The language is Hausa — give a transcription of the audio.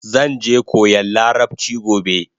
Zanje koyan larabchi gobe